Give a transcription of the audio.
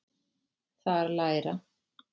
Þar læra